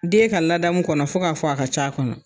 Den ka ladamu kɔnɔ fo k'a fɔ a ka ca kɔnɔ.